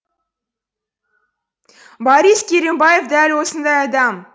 борис керімбаев дәл осындай адам